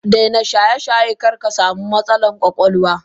Daina shayeshaye karkasamu matsalan kwakwalwa.